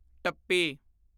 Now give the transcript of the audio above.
ਟੱਪੀ